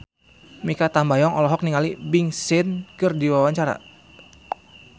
Mikha Tambayong olohok ningali Big Sean keur diwawancara